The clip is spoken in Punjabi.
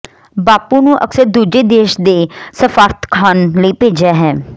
ਬਾਪੂ ਨੂੰ ਅਕਸਰ ਦੂਜੇ ਦੇਸ਼ ਦੇ ਸਫਾਰਤਖਾਨ ਲਈ ਭੇਜਿਆ ਹੈ